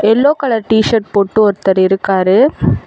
Yellow colour T-shirt போட்டு ஒருத்தர் இருக்காரு.